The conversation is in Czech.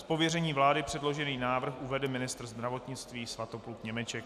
Z pověření vlády předložený návrh uvede ministr zdravotnictví Svatopluk Němeček.